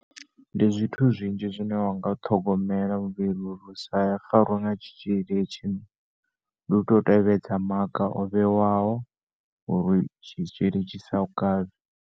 Ndi zwithu zwinzhi zwine wanga ṱhogomela muvhili uri usa farwe nga tshitzhili hetshi nduto tevhedza maga ovhewaho uri tshitzhili tshisa u kavhe.